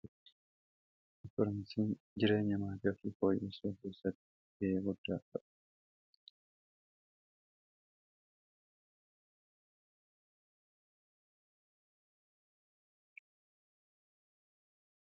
informeshiin jireenya maataa ofii foyyesuu kessattii gahee guddaa qabaa